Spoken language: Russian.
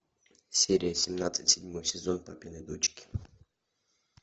серия семнадцать седьмой сезон папины дочки